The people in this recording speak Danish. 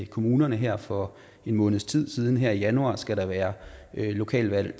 kommunerne her for en måneds tid siden her i januar skal der være lokalvalg